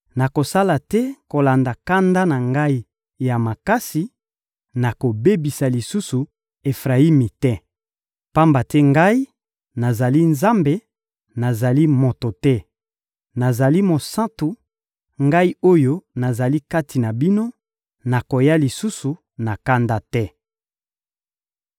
Nakosala te kolanda kanda na Ngai ya makasi, nakobebisa lisusu Efrayimi te. Pamba te Ngai, nazali Nzambe, nazali moto te! Nazali Mosantu, Ngai oyo nazali kati na bino; nakoya lisusu na kanda te.